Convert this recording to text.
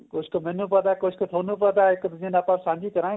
ਕੁੱਝ ਕ਼ ਮੈਂਨੂੰ ਪਤਾ ਕੁੱਝ ਕ਼ ਤੁਹਾਨੂੰ ਪਤਾ ਏ ਇੱਕ ਦੂਜੇ ਨੂੰ ਆਪਾਂ ਸਾਂਝੀ ਕਰਾਗੇ